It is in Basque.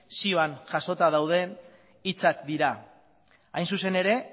zioan jasota dauden hitzak dira hain zuzen ere